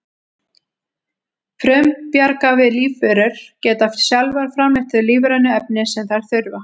frumbjarga lífverur geta sjálfar framleitt þau lífrænu efni sem þær þurfa